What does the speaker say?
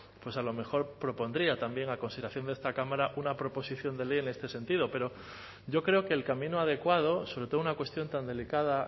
a lo mejor propondría también a consideración de esta cámara una proposición de ley en este sentido pero yo creo que el camino adecuado sobre todo una cuestión tan delicada